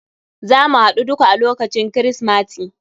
Zamu haɗu duka a lokacin krismati.